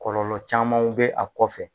Kɔlɔlɔ camanw bɛ a kɔfɛ